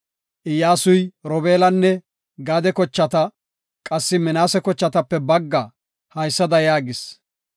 Iyyasuy, Robeelanne Gaade kochata qassi Minaase kochatape bagga haysada yaagis;